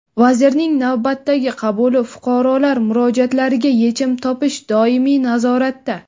Vazirning navbatdagi qabuli: fuqarolar murojaatlariga yechim topish doimiy nazoratda.